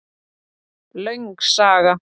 Löng saga